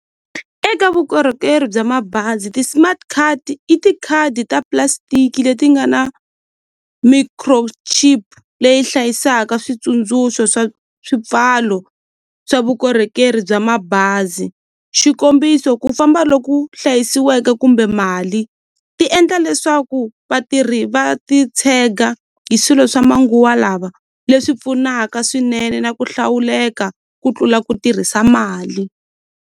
Eka vukorhokeri bya mabazi ti-smart card i tikhadi ta plastic leti nga na micro chip leyi hlayisaka switsundzuxo swa swipfalo swa vukorhokeri bya mabazi xikombiso ku famba loku hlayisiweke kumbe mali ti endla leswaku vatirhi va ti tshega hi swilo swa manguwa lava leswi pfunaka swinene na ku hlawuleka ku tlula ku tirhisa mali.